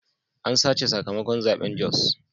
An sace sakamakon zaben Jos.